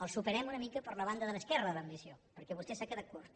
el superem una mica per la banda de l’esquerra en l’ambició perquè vostè s’ha quedat curt